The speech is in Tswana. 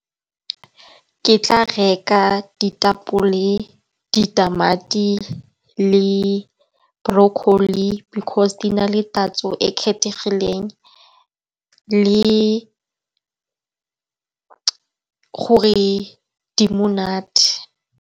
Ke tla reka ditapole, ditamati le broccoli, because di na le tatso e e kgethegileng, le-le gore di monate.